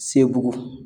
Sebugu